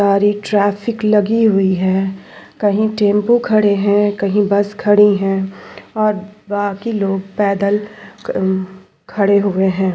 सारी ट्रैफिक लगी हुई है कहीं टेम्पो खड़े है कहीं बस खड़ी है बाकी क अम लोग पैदल खड़े हुए है ।